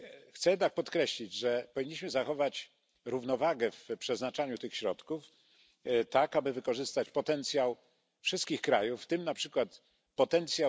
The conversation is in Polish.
Chcę jednak podkreślić, że powinniśmy zachować równowagę w przeznaczaniu tych środków, tak aby wykorzystać potencjał wszystkich krajów, w tym np.